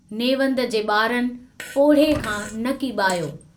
नेवंद जे बारनि पोरिह्ये खां न कीबायो।